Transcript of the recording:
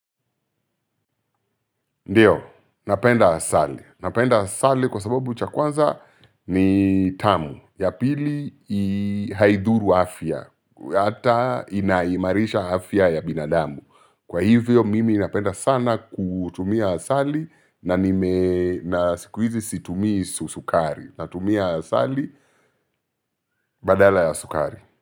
Ndio, napenda asali. Napenda asali kwa sababu cha kwanza ni tamu cha pili ni haidhuru afya hata inaimarisha afya ya binadamu. Kwa hivyo mimi napenda sana kutumia asali na sikuizi situmii sukari. Natumia asali badala ya sukari.